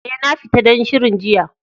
Eh, na fita don shirin jiya.